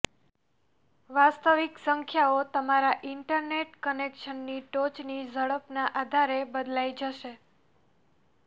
વાસ્તવિક સંખ્યાઓ તમારા ઇન્ટરનેટ કનેક્શનની ટોચની ઝડપના આધારે બદલાઈ જશે